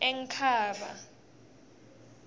enkhaba